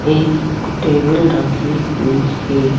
एक टेबल रखी हुई है।